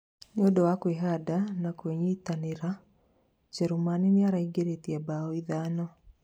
nĩũndũ wa kwĩhanda na kũnyitanĩra, njerumani niĩraingĩrĩtie mbao ithano